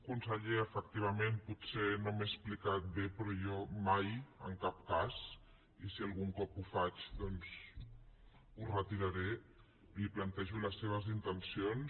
conseller efectivament potser no m’he explicat bé però jo mai en cap cas i si algun cop ho faig doncs ho retiraré li plantejo les seves intencions